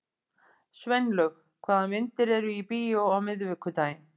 Sveinlaug, hvaða myndir eru í bíó á miðvikudaginn?